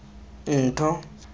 ntho